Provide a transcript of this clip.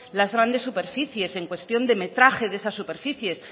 las grandes superficies en cuestión de metraje de esas superficies